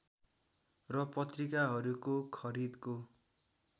र पत्रिकाहरूको खरिदको